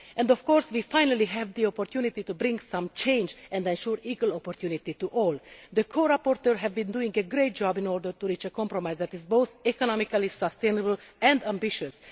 And, of course, we finally have the opportunity to bring about some change and to assure equal opportunity to all. The core rapporteurs have done a great job in order to reach a compromise that is both economically sustainable and ambitious.